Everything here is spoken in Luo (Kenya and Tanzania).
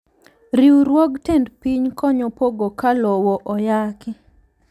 Riwruog tend piny konyo pogo ka lowo oyaki.